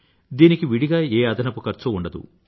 దీనికి విడిగా ఏ అదనపు ఖర్చూ ఉండదు